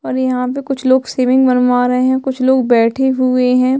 और यहाँ पे कुछ लोग शेविंग बनवा रहे है कुछ लोग बैठे हुए है।